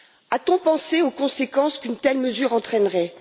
A t on pensé aux conséquences qu'une telle mesure entraînerait?